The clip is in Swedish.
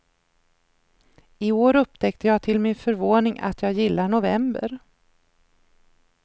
I år upptäckte jag till min förvåning att jag gillar november.